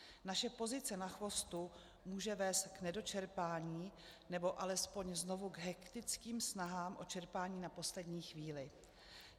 Naše pozice na chvostu může vést k nedočerpání, nebo alespoň znovu k hektickým snahám o čerpání na poslední chvíli.